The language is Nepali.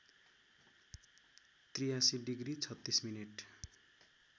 ८३ डिग्री ३६ मिनट